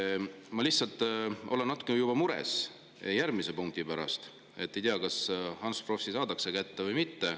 Ma olen lihtsalt natuke mures järgmise punkti pärast, sest ei tea, kas Ants Frosch saadakse kätte või mitte.